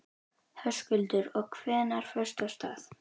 Höskuldur: Og hvenær fórstu af stað?